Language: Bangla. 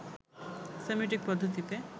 সেমিওটিক পদ্ধতিতে